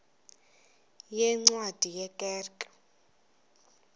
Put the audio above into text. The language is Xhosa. yeencwadi ye kerk